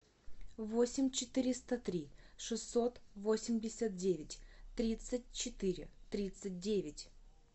восемь четыреста три шестьсот восемьдесят девять тридцать четыре тридцать девять